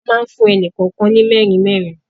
A máa fún ẹnì kọ̀ọ̀kan ní merin merin.